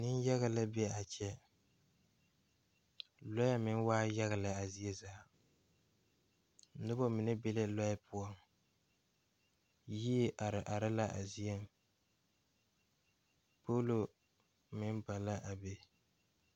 Nenyaga la be a kyɛ Lɔe meŋ waa yaga lɛ a zie zaa noba mine be la lɔe poɔ yie are are la a zieŋ pollo meŋ ba la a be.